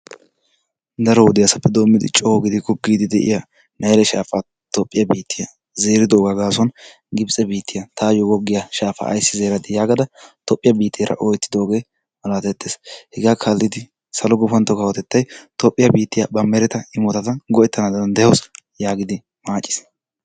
Daro wodiyaasappe doommidi coo goggiiddi de'iyaa nayile shaafaa Toophiya biittiya zeeridoogaa gaasuwan gibtse biittiyaa "taayyoo goggiyaa shaafaa ayissi zeeradii?" gaada tophiyaa biitteera oyetidoogee malaatettees. hegaa kaallidi salo gufantto kawotettay Toophiyaa biittiyaa ba mereta imotata go'ettana danddayawusu yaagidi maaciis.